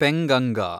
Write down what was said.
Penganga